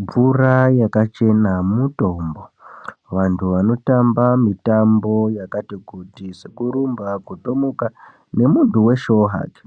Mvura yakachena mutombo antu anotamba mutambo yakati kuti sekurumba kutomuka nemuntu weshewo hake